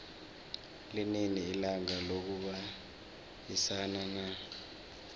linini ilanga lokubayisana na